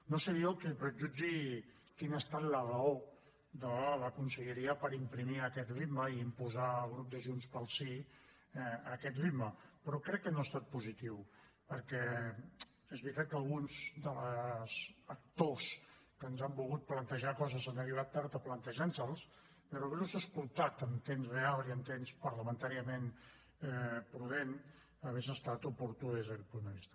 no seré jo qui prejutgi quina ha estat la raó de la conselleria per imprimir aquest ritme i imposar al grup de junts pel sí aquest ritme però crec que no ha estat positiu perquè és veritat que alguns dels actors que ens han volgut plantejar coses han arribat tard a plantejar nos les però haver los pogut escoltar en temps real i en temps parlamentàriament prudent hauria estat oportú des d’aquest punt de vista